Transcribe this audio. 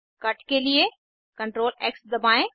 cut के लिए CTRLX दबाएं